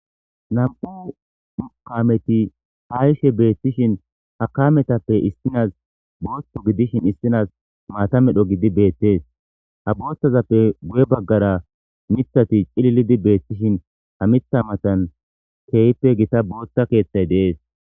Nm'u kaameti haishe beettishin hakametappe issinas booththo gidishin issinas maatamedho gidi beettes ha boothazappe guye baggara mithati cililidi beettishin ha mitha matan keeyppe gita boothta keeththay dees